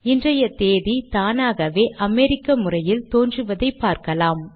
இன்றைய தேதி தானாகவே அமெரிக்க முறையில் தோன்றுவதை பார்க்கலாம்